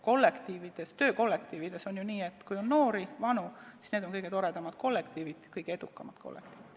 Töökollektiividega on ju nii, et kus on noori ja vanu, need on kõige toredamad ja kõige edukamad kollektiivid.